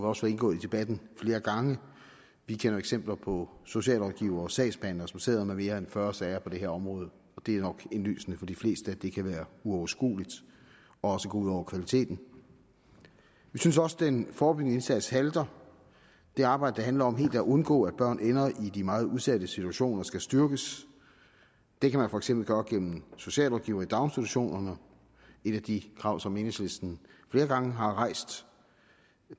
også indgået i debatten flere gange vi kender eksempler på socialrådgivere og sagsbehandlere som sidder med mere end fyrre sager på det her område og det er nok indlysende for de fleste at det kan være uoverskueligt og gå ud over kvaliteten vi synes også den forebyggende indsats halter det arbejde der handler om helt at undgå at børn ender i de meget udsatte situationer skal styrkes det kan man for eksempel gøre gennem socialrådgivere i daginstitutionerne et af de krav som enhedslisten flere gange har rejst